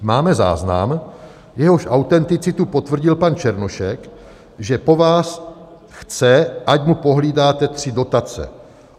"Máme záznam, jehož autenticitu potvrdil pan Černošek, že po vás chce, ať mu pohlídáte tři dotace.